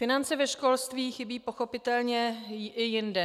Finance ve školství chybí pochopitelně i jinde.